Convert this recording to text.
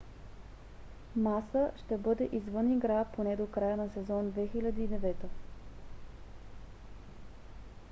маса ще бъде извън игра поне до края на сезон 2009